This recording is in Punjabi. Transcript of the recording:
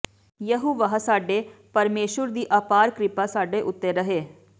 ਯਹੋਵਾਹ ਸਾਡੇ ਪਰਮੇਸ਼ੁਰ ਦੀ ਅਪਾਰ ਕਿਰਪਾ ਸਾਡੇ ਉੱਤੇ ਰਹੇ